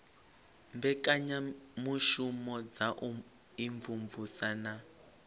mbekanyamushumo dza u imvumvusa na